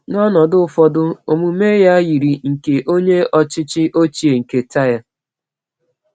N’ọnọdụ ụfọdụ, omume ya yiri nke onye ọchịchị ochie nke Tyre.